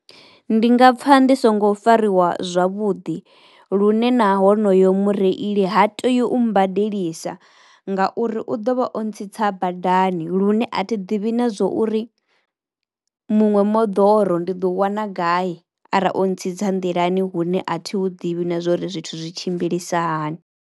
Ndi nga pfha ndi songo fariwa zwavhuḓi lune na honoyo mureili ha teyu u mbadelisa ngauri u ḓo vha o ntsitsa badani lune a thi ḓivhi na zwo uri muṅwe moḓoro ndi ḓo u wana gai ara o ntsitsa nḓilani hune a thi hu ḓivhi na zwori zwithu zwi tshimbilisa hani.